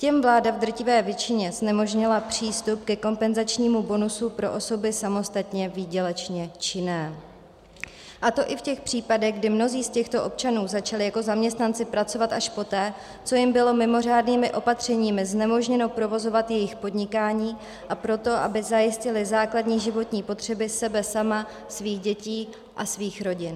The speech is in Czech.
Těm vláda v drtivé většině znemožnila přístup ke kompenzačnímu bonusu pro osoby samostatně výdělečně činné, a to i v těch případech, kdy mnozí z těchto občanů začali jako zaměstnanci pracovat až poté, co jim bylo mimořádnými opatřeními znemožněno provozovat jejich podnikání, a proto, aby zajistili základní životní potřeby sebe sama, svých dětí a svých rodin.